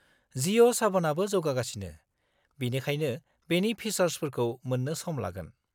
जिअ' साभ'नाबो जौगागासिनो, बेनिखायनो बेनि फिसार्सफोरखौ मोन्नो सम लागोन।